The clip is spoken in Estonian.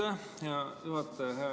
Aitäh, hea juhataja!